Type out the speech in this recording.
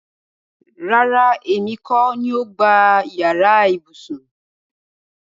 Rárá, èmi kọ́ ni o gbá yàrá ibùsùn